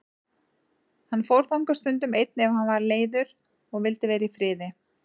Hann fór þangað stundum einn ef hann var leiður og vildi vera í friði.